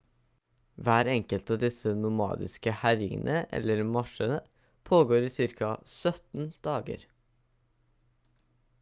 hver enkelt av disse nomadiske herjingene eller marsjene pågår i ca 17 dager